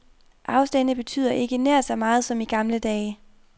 Afstande betyder ikke nær så meget som i gamle dage.